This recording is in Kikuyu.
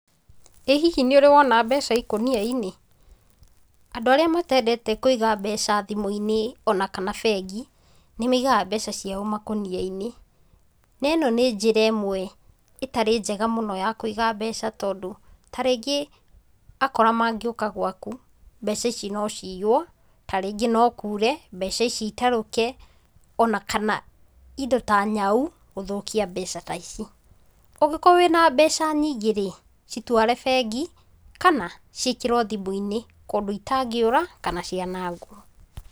Ĩ hihi nĩ ũrĩ wona mbeca ikũnia-inĩ? Andũ arĩa matendete kũiga mbeca thimũ-inĩ ona kana bengi nĩ maigaga mbeca ciao makũnia-inĩ, na ĩno nĩ njĩra ĩmwe ĩtarĩ njega mũno ya kũiga mbeca tondũ ta rĩngĩ akora mangĩũka gwaku, mbeca ici no ciyuo, ta rĩngĩ no kuure mbeca ici itarũke ona kana indo ta nyau gũthũkia mbeca ta ici. Ũngĩkorwo wĩna mbeca nyingĩ rĩ, citware bengi, kana ciĩkĩrwo thimũ-inĩ kũndũ itangĩũra kana cianangwo.